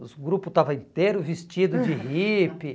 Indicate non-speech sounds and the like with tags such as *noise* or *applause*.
Os grupo estava inteiro vestido de hippie. *laughs*